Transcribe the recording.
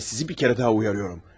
Və sizi bir kərə daha uyarıyorum.